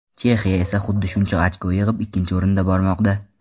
Chexiya esa xuddi shuncha ochko yig‘ib ikkinchi o‘rinda bormoqda.